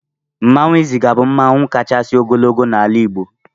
Mmanụ Izaga bụ mmanụ kachasị ogologo na-ala Igbo.